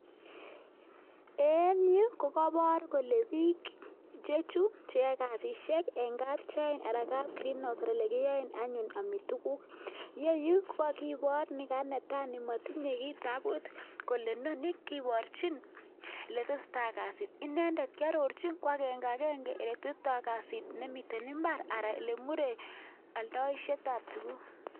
en yu kokabor kole biik chechu cheoe kasisiek eng kap chain anan kap greenhouse ole kioen anyun angi tuguk yeyu kokakibor nekai netoi nematindoi kiitabut kole noni kikeborchin letesetai kasit inendet kiarorchin agenge ole tesetai kasit nemite imbar anan ole murei aldoishetab tuguk.